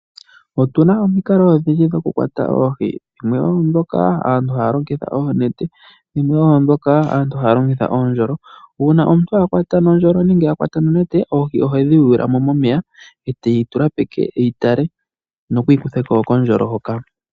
Otu na omikalo odhindji dhokukwata oohi dhimwe oondhono aantu haya longitha oonete, dhimwe oondhoka aantu haya longitha uundjolo. Uuna omuntu akwata nokandjolo nenge nonete oohi ohedhi yuula mo momeya etayi tula peke eyi tale opo eyi kutheko kondjolo hoka.